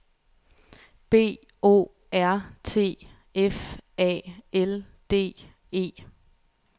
B O R T F A L D E